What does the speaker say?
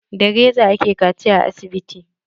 Da reza aka kaciya a asibiti.